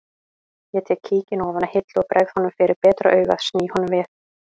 Ég tek kíkinn ofan af hillu og bregð honum fyrir betra augað sný honum við